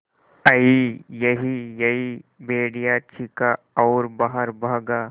अईयईयई भेड़िया चीखा और बाहर भागा